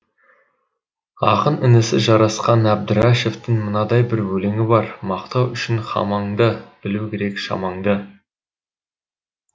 ақын інісі жарасқан әбдірашевтің мынадай бір өлеңі бар мақтау үшін хамаңды білу керек шамаңды